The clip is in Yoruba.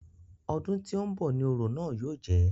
Ọdún tí ń bọ̀ ni orò náà yóò jẹ́.